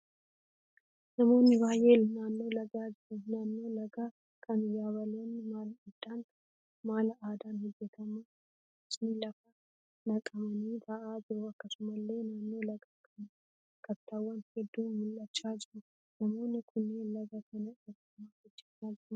Namoonni baayyeen naannoo lagaa jiru. Naannoo lagaa kana yabaloonni mala aadaan hojjetaman muraasni lafa naqamanii ta'a jiru. Akkasumallee naannoo lagaa kana kattaawwan hedduun mul'achaa jiru. Namooni kunniin laga kana irraa maal hojjeechaa jiru?